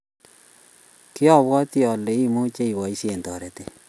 kiabuoti ale imuchi iboisien toretet